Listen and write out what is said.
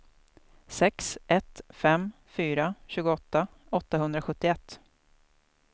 sex ett fem fyra tjugoåtta åttahundrasjuttioett